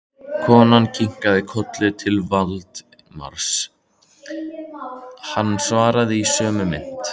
Konan kinkaði kolli til Valdimars, hann svaraði í sömu mynt.